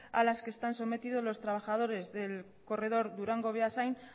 a las que están sometidos los trabajadores del corredor durango beasain